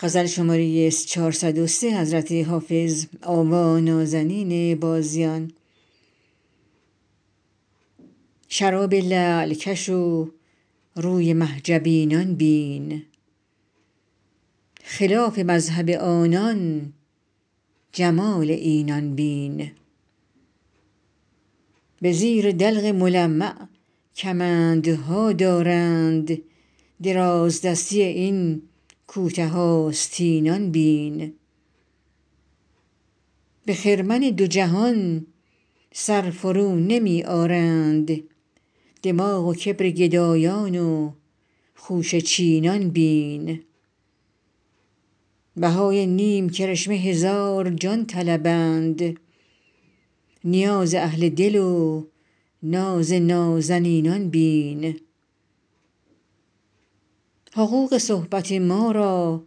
شراب لعل کش و روی مه جبینان بین خلاف مذهب آنان جمال اینان بین به زیر دلق ملمع کمندها دارند درازدستی این کوته آستینان بین به خرمن دو جهان سر فرونمی آرند دماغ و کبر گدایان و خوشه چینان بین بهای نیم کرشمه هزار جان طلبند نیاز اهل دل و ناز نازنینان بین حقوق صحبت ما را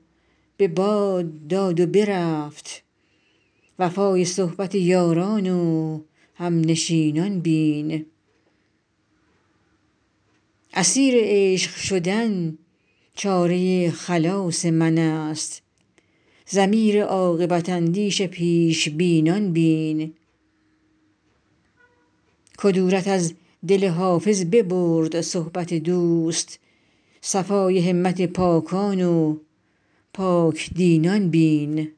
به باد داد و برفت وفای صحبت یاران و همنشینان بین اسیر عشق شدن چاره خلاص من است ضمیر عاقبت اندیش پیش بینان بین کدورت از دل حافظ ببرد صحبت دوست صفای همت پاکان و پاک دینان بین